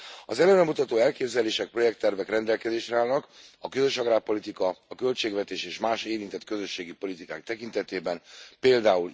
Az előremutató elképzelések, projekttervek rendelkezésre állnak, a közös agrárpolitika, a költségvetés és más érintett közösségi politikák tekintetében pl.